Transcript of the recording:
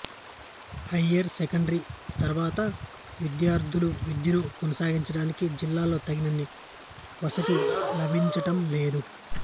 higher secondary తరువాత విద్యార్థులు విద్యను కొనసాగించడానికి జిల్లాలో తగినన్ని వసతి లభించడం లేదు